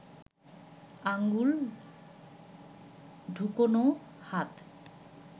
আঙুল ঢুকোনো হাত